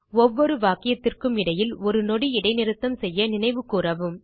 ஒவ்வொரு வாக்கியத்திற்கும் இடையில் ஒரு நொடி இடைநிறுத்தம் செய்ய நினைவு கூரவும்